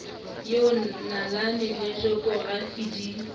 eo nalane le jokorafi di